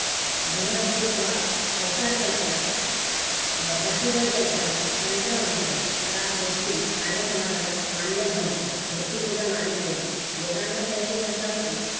बहद्देव्वाद, अवतार कल्पना, अह पशुबळी यंत्रणा, तंत्र मंत्र या गोष्टी आर्य समाजाला मान्य नव्हत्या. मूर्तिपूजा मान्य नव्हती. वेदांवर त्यांची श्रद्धा होती